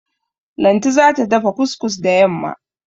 Lanti za ta dafa kus-kus da yamma.